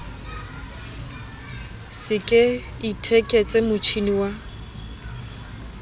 se ke itheketse motjhini wa